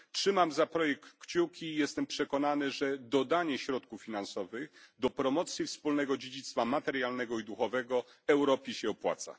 Trzymam za ten projekt kciuki i jestem przekonany, że dodanie środków finansowych do promocji wspólnego dziedzictwa materialnego i duchowego Europie się opłaca.